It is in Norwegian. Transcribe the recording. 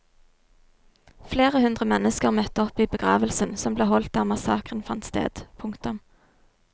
Flere hundre mennesker møtte opp i begravelsen som ble holdt der massakren fant sted. punktum